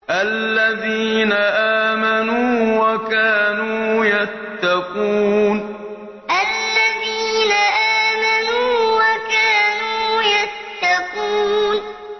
الَّذِينَ آمَنُوا وَكَانُوا يَتَّقُونَ الَّذِينَ آمَنُوا وَكَانُوا يَتَّقُونَ